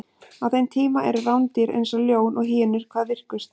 á þeim tíma eru rándýr eins og ljón og hýenur hvað virkust